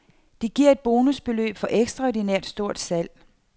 De giver et bonusbeløb for ekstraordinært stort salg.